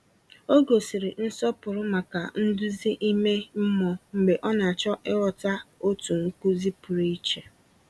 Ọ gosiri nsọpụrụ maka nduzi ime mmụọ mgbe ọ na-achọ ịghọta otu nkuzi pụrụ iche.